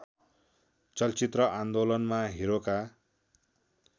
चलचित्र आन्दोलनमा हिरोका